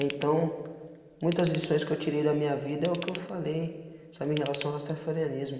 Então, muitas lições que eu tirei da minha vida é o que eu falei, sabe, em relação ao rastafareanismo.